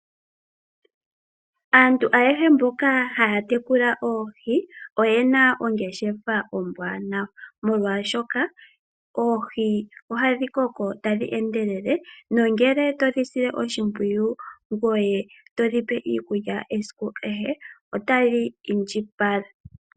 Aantu ayehe mboka haya tekula oohi oyena ongeshefa ombwaanawa molwashoka oohi ohadhi koko tadhi endelele. Nongele todhi sile oshimpwiyu ngoye to dhi pe iikulya esiku kehe otadhi indjipala.